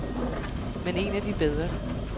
Men en af de bedre.